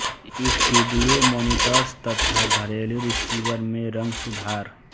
studio monitors तथा घरेलु receiver में रंग सुधार